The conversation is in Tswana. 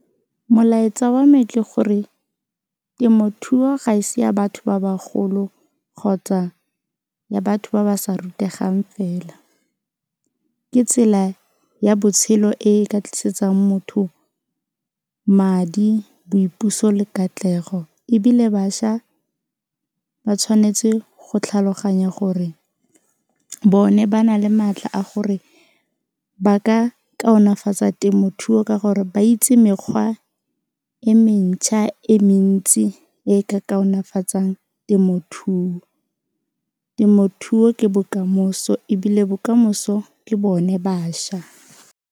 Molaetsa wa me ke gore temothuo ga ese ya batho ba bagolo kgotsa ya batho ba ba sa rutegang fela, ke tsela ya botshelo e e ka tlisetsang motho madi, boipuso le katlego ebile bašwa ba tshwanetse go tlhaloganya gore bone ba na le maatla a gore ba ka kaonafatsa temothuo ka gore ba itse mekgwa e mentšha e mentsi e e ka kaonafatsang temothuo, temothuo ke bokamoso ebile bokamoso ke bone bašwa.